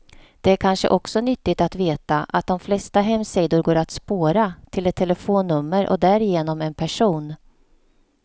Det är kanske också nyttigt att veta att de flesta hemsidor går att spåra, till ett telefonnummer och därigenom en person.